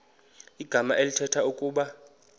igama elithetha ukuba